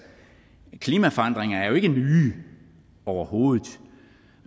klimaforandringerne er jo ikke nye overhovedet